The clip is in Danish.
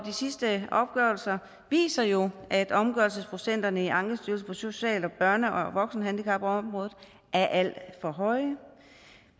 sidste opgørelser viser jo at omgørelsesprocenterne i ankestyrelsen på social børne og voksenhandicapområderne er alt for høje